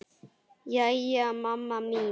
Jæja, mamma mín.